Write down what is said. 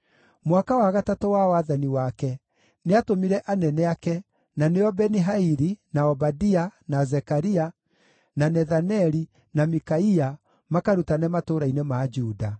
Mwaka wa gatatũ wa wathani wake nĩatũmire anene ake, na nĩo Beni-Haili, na Obadia, na Zekaria, na Nethaneli, na Mikaia makarutane matũũra-inĩ ma Juda.